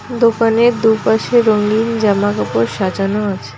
দোকানের দুপাশে রঙ্গিন জামাকাপড় সাজানো আছে।